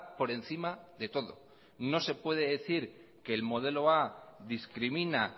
por encima de todo no se puede decir que el modelo a discrimina